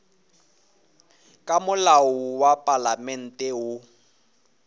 ka molao wa palamente woo